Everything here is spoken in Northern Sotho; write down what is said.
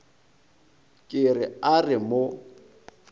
ke re a re mo